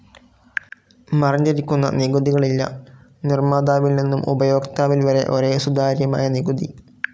മറഞ്ഞിരിക്കുന്ന നികുതികളില്ല. നിർമ്മാതാവിൽ നിന്നും ഉപയോക്താവിൽ വരെ ഒരേ സുതാര്യമായ നികുതി.